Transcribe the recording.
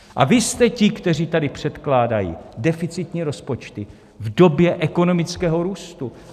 A vy jste ti, kteří tady předkládají deficitní rozpočty v době ekonomického růstu.